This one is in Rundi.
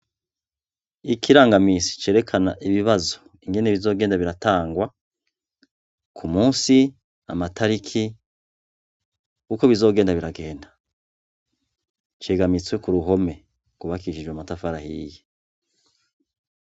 Ikirangaminsi cerekana ibibazo ingene bizogenda biratangwa, k'umusi, amatariki, uko bizogenda biragenda. Kimanitswe ku ruhome, rwubakishijwe amatafari ahiye.